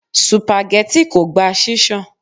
Supageti kò gba ṣíṣan.